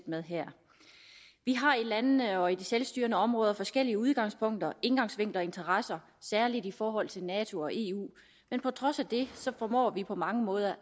med her vi har i landene og i de selvstyrende områder forskellige udgangspunkter indgangsvinkler og interesser særlig i forhold til nato og eu men på trods af det formår vi på mange måder